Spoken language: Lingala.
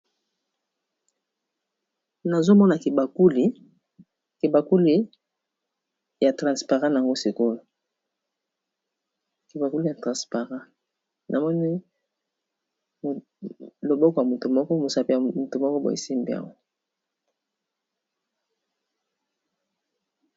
Nazomona kibakuli yango sikoyo kebakuli ya transparent namoni loboko ya motu moko mosape ya motu moko boesimbio.